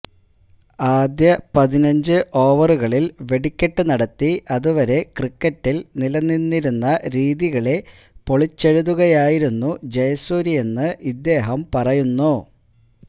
ആദ്യ പതിനഞ്ച് ഓവറുകളില് വെടിക്കെട്ട് നടത്തി അത് വരെ ക്രിക്കറ്റില് നിലനിന്നിരുന്ന രീതികളെ പൊളിച്ചെഴുതുകയായിരുന്നു ജയസൂര്യയെന്ന് ഇദ്ദേഹം പറയുന്നു